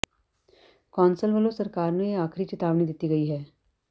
council ਵੱਲੋਂ ਸਰਕਾਰ ਨੂੰ ਇਹ ਆਖਰੀ ਚਿਤਾਵਨੀ ਦਿੱਤੀ ਗਈ ਹੈ